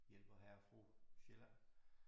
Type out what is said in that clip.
Hjælper hr. og fru Sjælland